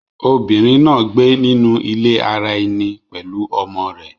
Obìnrín náa gbé nínú ilé àrà ẹní pẹlú ọmọ rẹ.